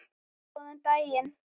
Góðan daginn!